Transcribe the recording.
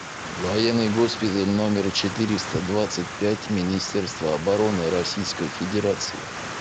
военный госпиталь номер четыреста двадцать пять министерства обороны российской федерации